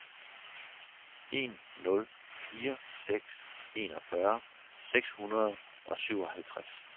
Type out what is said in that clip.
en nul fire seks enogfyrre seks hundrede og syvoghalvtreds